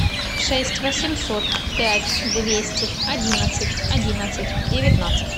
шесть восемьсот пять двести одиннадцать одиннадцать девятнадцать